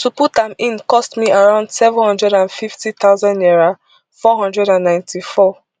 to put am in cost me around seven hundred and fifty thousand naira four hundred and ninety-four